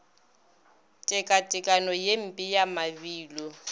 tekatekanyo ye mpe ya mabilo